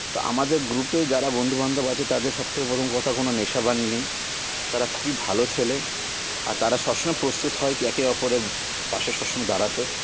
তা আমাদের group -এ যারা বন্ধু বান্ধব আছে তাদের সবথেকে প্রথম কথা কোন নেশা ভান ই নেই তারা খুবই ভালো ছেলে আর তারা সবসময় প্রস্তুত হয় একে অপরের পাশে সবসময় দাড়াতে